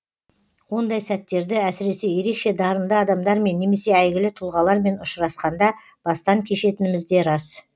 ондай сәттерді әсіресе ерекше дарынды адамдармен немесе әйгілі тұлғалармен ұшырасқанда бастан кешетініміз де рас